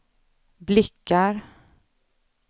blickar